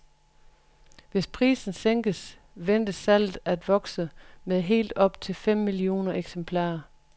Hvis prisen sænkes, ventes salget af vokse med helt op til fem millioner eksemplarer.